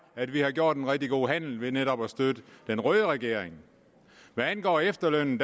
at vi har gjort en rigtig god handel ved netop at støtte den røde regering hvad angår efterlønnen